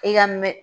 I ka mɛ